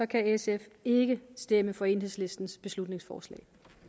kan sf ikke stemme for enhedslistens beslutningsforslag